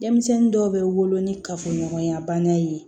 Denmisɛnnin dɔw bɛ wolo ni kafoɲɔgɔnya banna ye